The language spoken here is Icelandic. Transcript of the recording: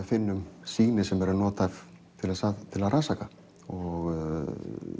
finnum sýni sem eru nothæf til að til að rannsaka og